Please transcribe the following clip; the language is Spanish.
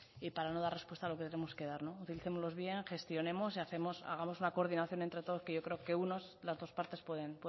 y para no dar respuesta a lo que tenemos que dar utilicémoslo bien gestionemos y hagamos una coordinación entre todos que yo creo que unos o las dos partes pueden